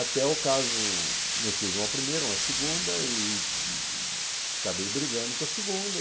Até o caso, eu tive uma primeira, uma segunda e acabei brigando com a segunda.